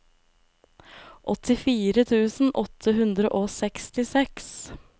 åttifire tusen åtte hundre og sekstiseks